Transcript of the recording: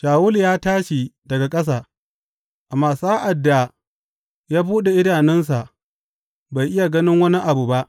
Shawulu ya tashi daga ƙasa, amma sa’ad da ya buɗe idanunsa bai iya ganin wani abu ba.